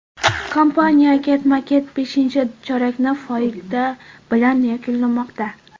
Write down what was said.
Kompaniya ketma-ket beshinchi chorakni foyda bilan yakunlamoqda.